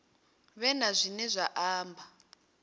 vhe na zwine vha amba